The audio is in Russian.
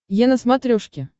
е на смотрешке